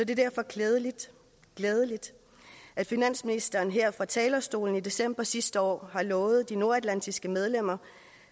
det derfor glædeligt glædeligt at finansministeren her fra talerstolen i december sidste år lovede de nordatlantiske medlemmer